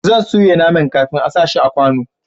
zan soya naman kafin a sa shi a kwano